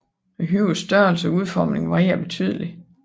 Højenes størrelse og udformning varierer betydeligt